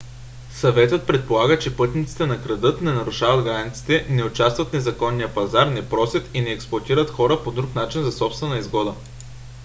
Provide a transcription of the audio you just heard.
съветът предполага че пътниците не крадат не нарушават границите не участват в незаконния пазар не просят и не експлоатират хора по друг начин за собствена изгода